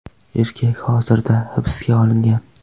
Erkak hozirda hibsga olingan.